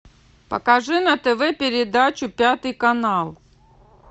покажи на тв передачу пятый канал